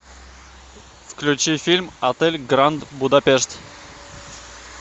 включи фильм отель гранд будапешт